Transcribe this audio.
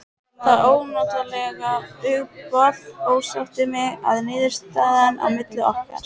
Það ónotalega hugboð ásótti mig að niðurstaðan í máli okkar